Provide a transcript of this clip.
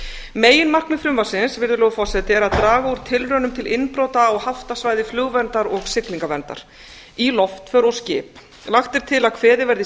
meginefni frumvarpsins er að draga úr tilraunum til innbrot á haftasvæði flugverndar og siglingaverndar í loftför og skip lagt er til að kveðið verði